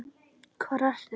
Hvar ertu?